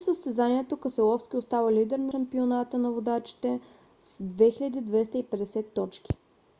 след състезанието кеселовски остава лидер на шампионата на водачите с 2250 точки